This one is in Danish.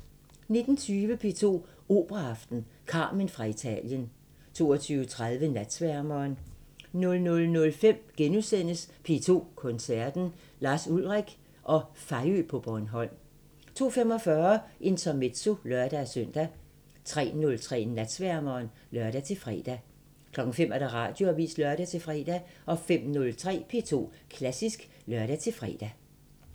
19:20: P2 Operaaften – Carmen fra Italien 22:30: Natsværmeren 00:05: P2 Koncerten – Lars Ulrik og Fejø på Bornholm * 02:45: Intermezzo (lør-søn) 03:03: Natsværmeren (lør-fre) 05:00: Radioavisen (lør-fre) 05:03: P2 Klassisk (lør-fre)